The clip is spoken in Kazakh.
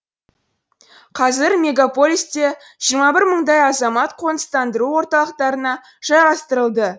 қазір мегаполисте жиырма бір мыңдай азамат қоныстандыру орталықтарына жайғастырылды